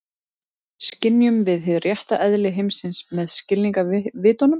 Skynjum við hið rétta eðli heimsins með skilningarvitunum?